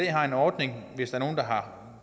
har en ordning hvis der er nogle der har